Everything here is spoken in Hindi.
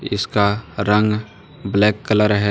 इसका रंग ब्लैक कलर है।